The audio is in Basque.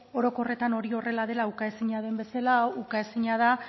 orokorretan hori horrela dela ukaezina den bezala ukaezina da